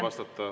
Palun!